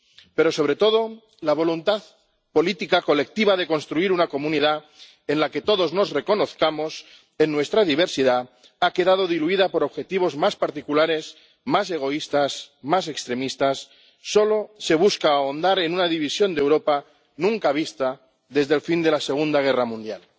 pero, sobre todo, la voluntad política colectiva de construir una comunidad en la que todos nos reconozcamos en nuestra diversidad ha quedado diluida por objetivos más particulares, más egoístas, más extremistas solo se busca ahondar en una división de Europa nunca vista desde el fin de la Segunda Guerra Mundial.